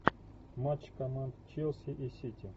матч команд челси и сити